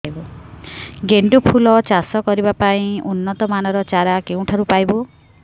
ଗେଣ୍ଡୁ ଫୁଲ ଚାଷ କରିବା ପାଇଁ ଉନ୍ନତ ମାନର ଚାରା କେଉଁଠାରୁ ପାଇବୁ